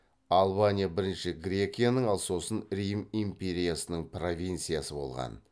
албания бірінші грекияның ал сосын рим империясының провинциясы болған